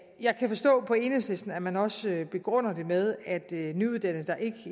jeg kan forstå på enhedslisten at man også begrunder det med at nyuddannede der